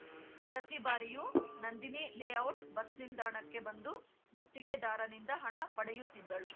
ಪ್ರತಿ ಬಾರಿಯು Nandini layout bus ನಿಲ್ದಾಣಕ್ಕೆ ಬಂದು ಗುತ್ತಿಗೆದಾರನಿಂದ ಹಣ ಪಡೆಯುತ್ತಿದ್ದಳು